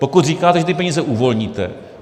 Pokud říkáte, že ty peníze uvolníte.